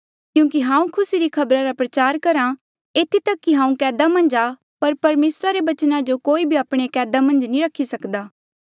क्यूंकि हांऊँ खुसी री खबरा रा प्रचार करहा इधी कठे हांऊँ एक अपराधी साहीं दुःख सहन करहा एथी तक कि हांऊँ कैदा मन्झ आ पर परमेसरा रे बचना जो कोई भी आपणे कैदा मन्झ नी रखी सकदा